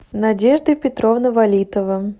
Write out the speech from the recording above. надежда петровна валитова